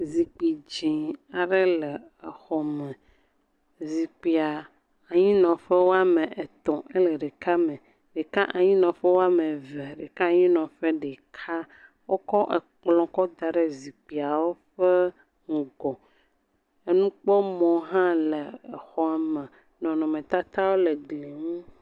Zikpui dzɛ̃ aɖe le exɔme, zikpuia anyinɔƒe woame etɔ̃ ele ɖeka me, ɖeka anyinɔƒe woame eve ɖeka anyinɔƒe ɖeka, wokɔ ekplɔ kɔ da ɖe xzikpuiwo ƒe ŋgɔ enukpɔmɔ hã le exɔ me, nɔnɔmetatawo le gli ŋu.